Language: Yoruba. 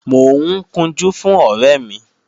Mò ń kunjú fún ọ̀rẹ́ mi